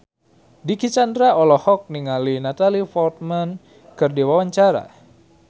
Dicky Chandra olohok ningali Natalie Portman keur diwawancara